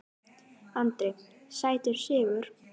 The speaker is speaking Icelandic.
Andri: Sætur sigur?